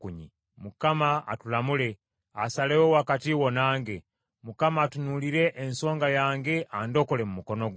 Mukama atulamule, asalewo wakati wo nange. Mukama atunuulire ensonga yange andokole mu mukono gwo.”